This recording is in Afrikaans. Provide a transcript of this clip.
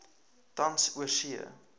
tans oorsee